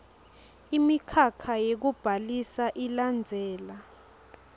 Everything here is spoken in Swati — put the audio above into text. imikhakha yekubhalisa ilandzela